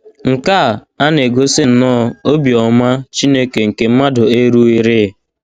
Nkea ana - egosi nnọọ obiọma Chineke nke mmadụ erughịrị